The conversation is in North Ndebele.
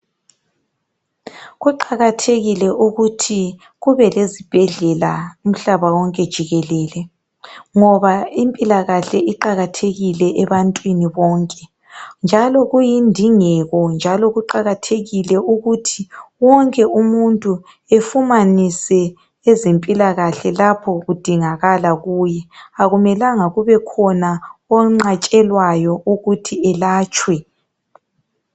Kuqakathekile ukuthi kubelezibhedlela umhlaba wonke jikelele, ngoba impilakahle iqakathekile ebantwini bonke, njalo kuyindingeko, njalo kuqakathekile ukuthi wonke umuntu efumanise ezempilakahle lapho kudingakala kuye. Akumelanga kubekhona onqatshelwayo ukuthi elatshwe.